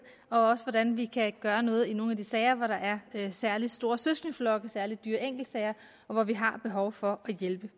og også om hvordan vi kan gøre noget i nogle af de sager hvor der er særlig store søskendeflokke særlig dyre enkeltsager og hvor vi har behov for at hjælpe